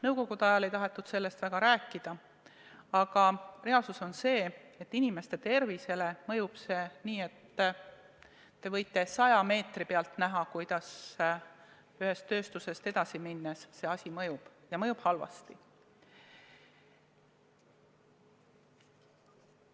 Nõukogude ajal ei tahetud sellest väga rääkida, aga reaalsus on see, et inimeste tervisele mõjub see nii, et te võite saja meetri pealt näha, kuidas ühest tööstusest edasi minnes see mõjub, ja mõjub halvasti.